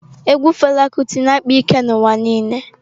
Egwu Fela Kuti na-akpa ike n'ụwa niile.